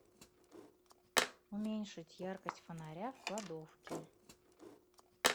уменьшить яркость фонаря в кладовке